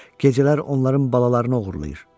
Gecələr onların balalarını oğurlayır.